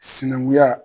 Sinankunya